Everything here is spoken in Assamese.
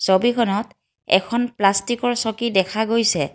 ছবিখনত এখন পাষ্টিক ৰ চকী দেখা গৈছে।